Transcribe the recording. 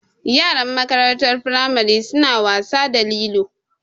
Yaran makarantar firamari su na wasa da lilo